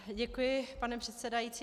Děkuji, pane předsedající.